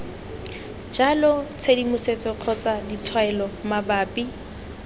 jalo tshedimosetso kgotsa ditshwaelo mabapi